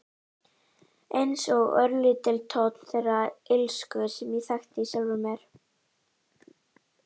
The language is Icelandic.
Einsog örlítill tónn þeirrar illsku sem ég þekki í sjálfri mér.